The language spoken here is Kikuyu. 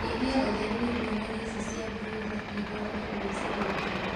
Nyihia ũtheri nĩguo nyoni ici cĩa broila ihorere ũgĩshinyita